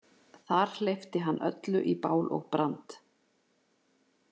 Þar hleypti hann öllu í bál og brand